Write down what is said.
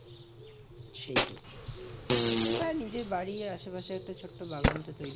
সেইটাই হ্যাঁ নিজের বাড়ির আসে পাশে একটা ছোট্ট বাগান তো তৈরী